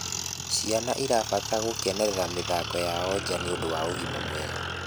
Ciana irabatara gukenerera mithako yao njaa nĩũndũ wa ũgima mwega